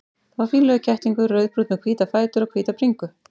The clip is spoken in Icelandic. Það var fínlegur kettlingur, rauðbrúnn með hvíta fætur og hvíta bringu.